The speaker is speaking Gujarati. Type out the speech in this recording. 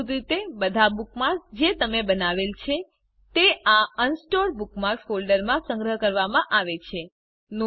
મૂળભૂત રીતે બધા બુકમાર્ક્સ જે તમે બનાવેલ છે તે આ અનસોર્ટેડ બુકમાર્ક્સ ફોલ્ડરમાં સંગ્રહ કરવામાં આવે છે